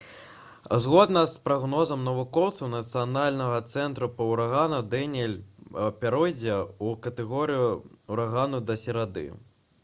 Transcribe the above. згодна з прагнозам навукоўцаў нацыянальнага цэнтра па ўраганах даніэль пяройдзе ў катэгорыю ўрагану да серады